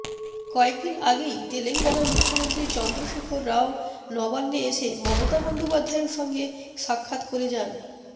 কয়েকদিন আগেই তেলেঙ্গানার মুখ্যমন্ত্রী চন্দ্রশেখর রাও নবান্নে এসে মমতা বন্দ্যোপাধ্যায়ের সঙ্গে সাক্ষাত্ করে যান